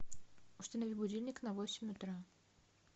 установи будильник на восемь утра